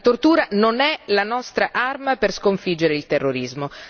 La tortura non è la nostra arma per sconfiggere il terrorismo.